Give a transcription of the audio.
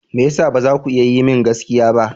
Me ya sa ba za ku iya yi min gaskiya ba?